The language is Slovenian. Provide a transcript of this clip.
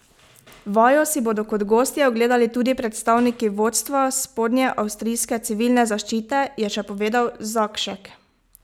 Vajo si bodo kot gostje ogledali tudi predstavniki vodstva spodnjeavstrijske civilne zaščite, je še povedal Zakšek.